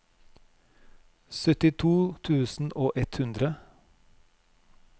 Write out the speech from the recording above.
syttito tusen og ett hundre